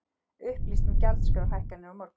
Upplýst um gjaldskrárhækkanir á morgun